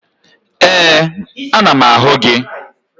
Ee, ana m ahụ gị